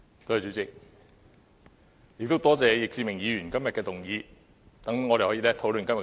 多謝易志明議員今天的議案，讓我們可以討論這議題。